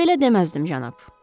Belə deməzdim, cənab.